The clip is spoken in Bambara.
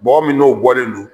Bɔgɔ min n'o bɔlen don.